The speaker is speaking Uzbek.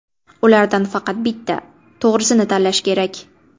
Ulardan faqat bitta, to‘g‘risini tanlash kerak.